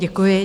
Děkuji.